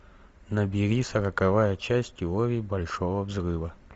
набери сороковая часть теории большого взрыва